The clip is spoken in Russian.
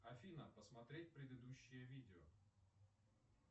афина посмотреть предыдущее видео